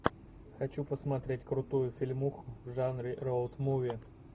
хочу посмотреть крутую фильмуху в жанре роуд муви